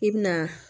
I bi na